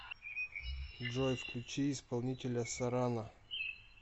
джой включи исполнителя сорана